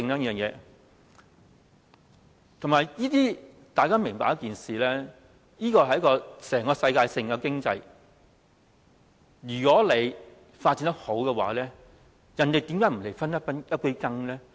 大家要明白一件事，這是一項世界性的經濟活動，如果發展得好，人家怎會不來分一杯羹呢？